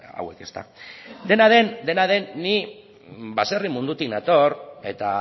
hauek dena den ni baserri mundutik nator eta